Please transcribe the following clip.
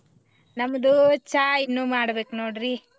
ನಮ್ದು ಚಾ ಇನ್ನು ಮಾಡ್ಬೇಕ್ ನೋಡ್ರಿ .